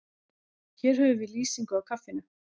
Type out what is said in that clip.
Hér höfum við lýsingu á kaffinu.